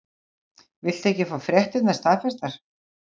Viltu ekki fá fréttirnar staðfestar?